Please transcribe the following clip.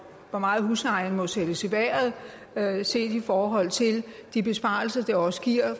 hvor meget huslejen må sættes i vejret set i forhold til de besparelser det også giver